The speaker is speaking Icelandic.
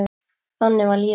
Þannig var lífið.